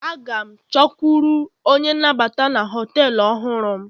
A ga m chọkwuru onye nnabata na họtelu ọhụrụ m